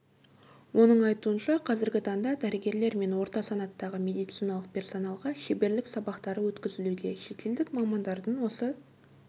оның айтуынша қазіргі таңда дәрігерлер мен орта санаттағы медициналық персоналға шеберлік сабақтары өткізілуде шетелдік мамандардың осы